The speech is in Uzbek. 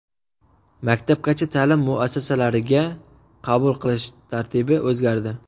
Maktabgacha ta’lim muassasalarigaga qabul qilish tartibi o‘zgardi.